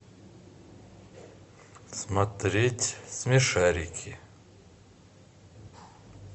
смотреть смешарики